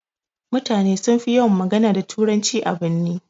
Mutane sunfi yawan magana da turanci a birni.